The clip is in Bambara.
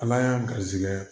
Ala y'an ga garizigɛ